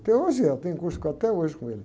Até hoje é. Tem curso com a, até hoje com ele.